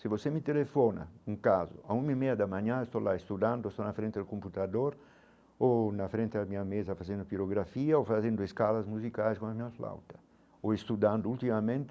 Se você me telefona, um caso, a uma e meia da manhã eu estou lá estudando, estou na frente do computador ou na frente da minha mesa fazendo pirografia ou fazendo escalas musicais com a minha flauta ou estudando ultimamente